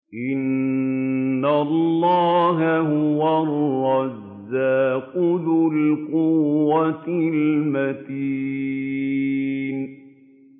إِنَّ اللَّهَ هُوَ الرَّزَّاقُ ذُو الْقُوَّةِ الْمَتِينُ